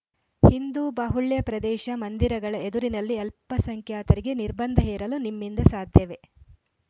ಹಿಂದು ಬಾಹುಳ್ಯ ಪ್ರದೇಶ ಮಂದಿರಗಳ ಎದುರಿನಲ್ಲಿ ಅಲ್ಪಸಂಖ್ಯಾತರಿಗೆ ನಿರ್ಬಂಧ ಹೇರಲು ನಿಮ್ಮಿಂದ ಸಾಧ್ಯವೇ